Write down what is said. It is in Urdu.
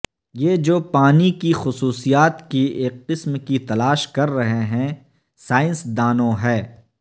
یہ جو پانی کی خصوصیات کی ایک قسم کی تلاش کر رہے ہیں سائنسدانوں ہے